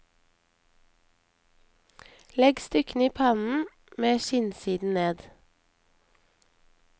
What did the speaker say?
Legg stykkene i pannen med skinnsiden ned.